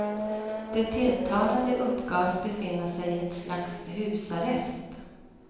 De tilltalade uppgavs befinna sig i ett slags husarrest.